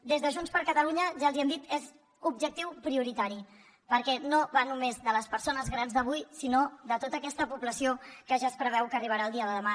des de junts per catalunya ja els hi hem dit és objectiu prioritari perquè no va només de les persones grans d’avui sinó de tota aquesta població que ja es preveu que hi arribarà el dia de demà